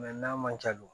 n'a man ca dun